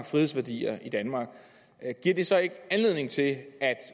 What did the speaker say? frihedsværdier i danmark giver det så ikke anledning til at